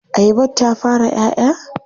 Ayabar ta fara 'ya 'ya?